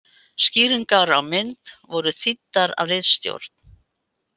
Skýringar á mynd voru þýddar af ritstjórn.